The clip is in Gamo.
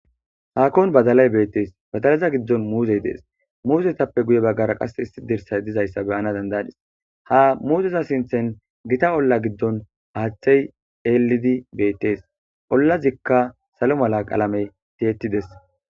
Hakkon baddalay bettees.badalatta giidon muzey dees,muzetappe guyera Kase issi dirssay dee'ees,ha muzeza giddon Gita olla giddon haaththey dees,Ollazikka sallo mala qalamek o